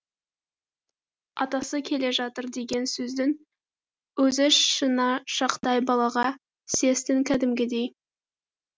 атасы келе жатыр деген сөздің өзі шынашақтай балаға сес тін кәдімгідей